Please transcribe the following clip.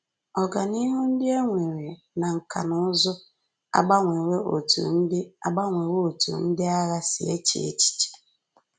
Ọganihu ndị e nwere na nkà na ụzụ agbanwewo otú ndị agbanwewo otú ndị agha si eche echiche